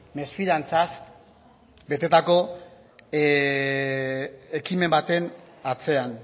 mesfidantzaz betetako ekimen baten atzean